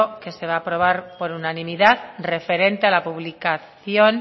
que se va a aprobar por unanimidad referente a la publicación